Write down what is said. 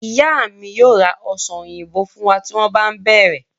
Ìyá mi yóò ra ọsàn òyìnbó fún wa tí wọ́n bá ń bere